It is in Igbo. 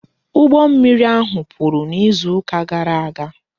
Ụgbọ mmiri ahụ kpuru n'izu ụka gara aga